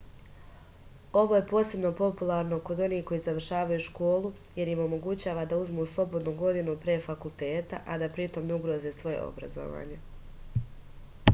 ovo je posebno popularno kod onih koji završavaju školu jer im omogućava da uzmu slobodnu godinu pre fakulteta a da pritom ne ugroze svoje obrazovanje